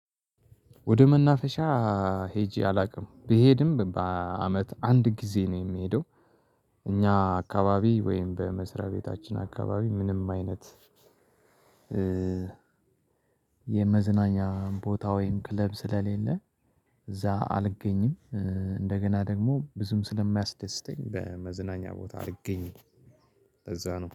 ወደ መናፈሻ ሄጄ አላውቅም ብሄድም በአመት አንድ ጊዜ ነው የሚሄደው። እኛ አካባቢ ወይም በመስሪያ ቤታችን አካባቢ ምንም አይነት የመዝናኛ ቦታ ወይም ክለብ ስለሌለ እዛ አልገኝም። እንደገና ደግሞ ብዙም ስለማያስደስተኝ በመዝናኛ ቦታ አልገኝም። ለዛ ነው